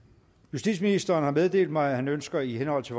justitsministeren har meddelt mig at han ønsker i henhold til